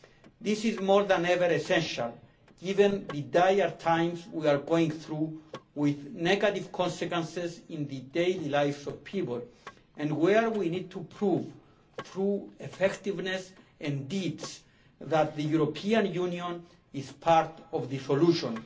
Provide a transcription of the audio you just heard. This is essential, now more than ever, given the dire times we are going through, with negative consequences in the daily lives of people and where we need to prove through effectiveness and deeds that the European Union is part of the solution.